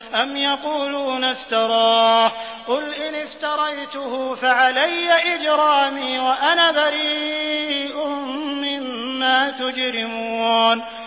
أَمْ يَقُولُونَ افْتَرَاهُ ۖ قُلْ إِنِ افْتَرَيْتُهُ فَعَلَيَّ إِجْرَامِي وَأَنَا بَرِيءٌ مِّمَّا تُجْرِمُونَ